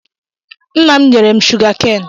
Nna m nyere m shụgakan.